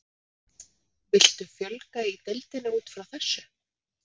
Viltu fjölga í deildinni útfrá þessu?